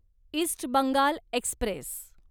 east Bengal Express